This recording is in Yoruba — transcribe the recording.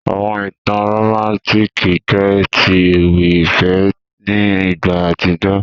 Àwọn ìtàn romantiki jẹ ti ewì ìfẹ́ ni ìgbà àtíjó.